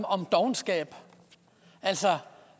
om dovenskab altså